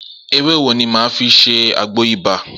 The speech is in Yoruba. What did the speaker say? Ewé wo ni mà á fi ṣe àgbo ibà?